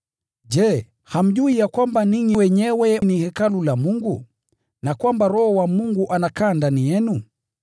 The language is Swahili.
Je, hamjui ya kwamba ninyi wenyewe ni hekalu la Mungu na kwamba Roho wa Mungu anakaa ndani yenu?